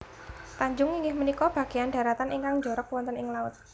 Tanjung inggih punika bagéyan dharatan ingkang njorok wonten ing laut